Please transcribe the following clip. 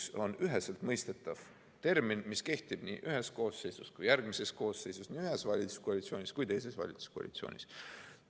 See on üheselt mõistetav põhimõte, mis kehtib nii ühes koosseisus kui ka järgmises koosseisus, nii ühes valitsuskoalitsioonis kui ka teises valitsuskoalitsioonis.